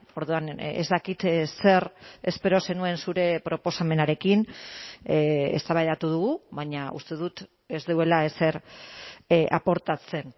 orduan ez dakit zer espero zenuen zure proposamenarekin eztabaidatu dugu baina uste dut ez duela ezer aportatzen